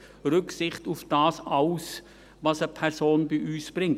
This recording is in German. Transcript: – Rücksicht auf all das, was eine Person bei uns mitbringt.